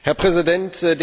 Herr Präsident!